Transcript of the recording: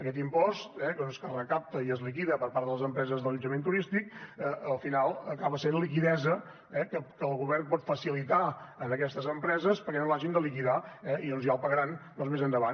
aquest impost que recapta i es liquida per part de les empreses d’allotjament turístic al final acaba sent liquiditat que el govern pot facilitar a aquestes empreses perquè no l’hagin de liquidar eh i ja el pagaran més endavant